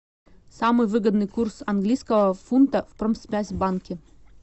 самый выгодный курс английского фунта в промсвязьбанке